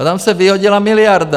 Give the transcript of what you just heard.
A tam se vyhodila miliarda.